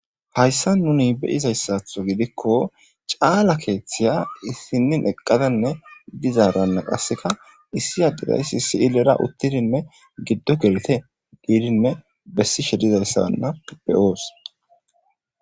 hayssa nuni beyizayssatho gidikko caala keeththiya issinnin eqqadanne dizaaranne qasseka issi adedayssi si7i lera uttidinne giddo gelete diidinne bessi shedizayssabanna pibeyoos